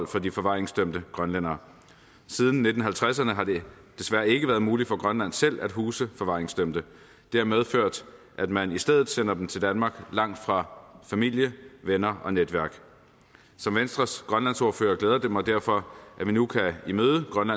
for de forvaringsdømte grønlændere siden nitten halvtredserne har det desværre ikke været muligt for grønland selv at huse forvaringsdømte det har medført at man i stedet sender dem til danmark langt fra familie venner og netværk som venstres grønlandsordfører glæder det mig derfor at vi nu kan imødekomme